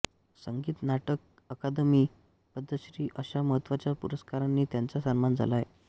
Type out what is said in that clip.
संगीत नाटक अकादमी पद्मश्री अशा महत्त्वाच्या पुरस्कारांनी त्यांचा सन्मान झाला आहे